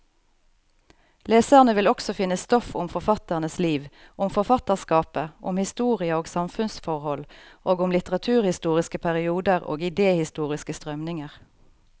Leserne vil også finne stoff om forfatternes liv, om forfatterskapet, om historie og samfunnsforhold, og om litteraturhistoriske perioder og idehistoriske strømninger.